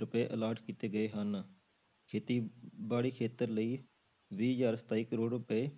ਰੁਪਏ allot ਕੀਤੇ ਗਏ ਹਨ, ਖੇਤੀਬਾੜੀ ਖੇਤਰ ਲਈ ਵੀਹ ਹਜ਼ਾਰ ਸਤਾਈ ਕਰੌੜ ਰੁਪਏ,